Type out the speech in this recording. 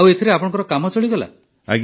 ଆଉ ଏଥିରେ ଆପଣଙ୍କ କାମ ଚଳିଗଲା